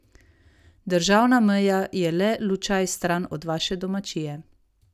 Državna meja je le lučaj stran od vaše domačije.